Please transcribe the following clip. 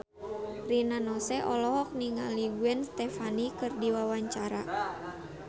Rina Nose olohok ningali Gwen Stefani keur diwawancara